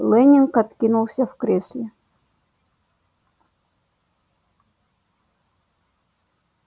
лэннинг откинулся в кресле